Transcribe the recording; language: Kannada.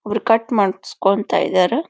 ಒಬ್ರ ಕಟ್ ಮಾಡಿಸಿಕೊಂತಾ ಇದ್ದಾರ.